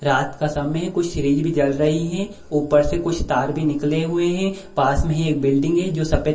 रात का समय है कुछ सीरीज भी जल रही है ऊपर से कुछ तार भी निकले हुए हैं पास में ही एक बिल्डिंग है जो सफ़ेद --